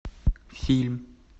фильм